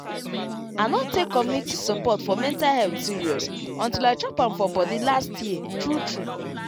i no take community support for mental health serious until i chop am for body last year true true